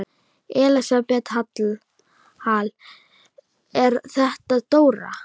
Elísabet Hall: Er þetta dóra?